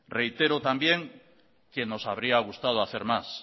reitero también que nos habría gustado hacer más